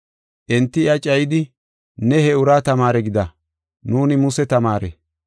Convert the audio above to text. Enti iya cayidi, “Ne he uraa tamaare gida; nuuni Muse tamaare.